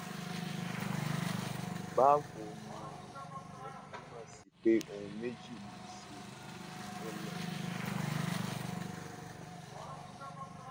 báwo ni o ìyẹn túmọ sí pé ohun méjì ló lè ṣẹlẹ